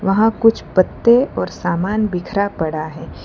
वहां कुछ पत्ते और सामान बिखरा पड़ा है।